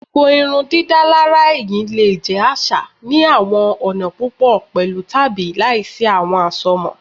Gbogbo irundidalara ẹhin le jẹ aṣa ni awọn ọna pupọ pẹlu tabi laisi awọn asomọ